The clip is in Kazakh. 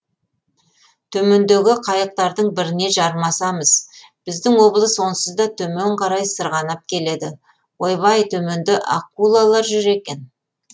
төмендегі қайықтардың біріне жармасамыз біздің облыс онсыз да төмен қарай сырғанап келеді ойбай төменде акулалар жүр екен